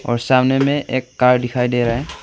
और सामने में एक कार दिखाई दे रहा है।